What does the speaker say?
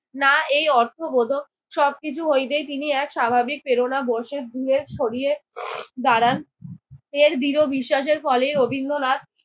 না এই অর্থবোধক। সব কিছু হইতে তিনি এক স্বাভাবিক প্রেরণাবশে দূরে সরিয়ে দাঁড়ান। এর দৃঢ় বিশ্বাসের ফলে রবীন্দ্রনাথ